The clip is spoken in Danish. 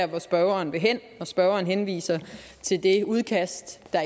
der spørgeren vil hen når spørgeren henviser til det udkast der